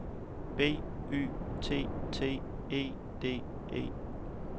B Y T T E D E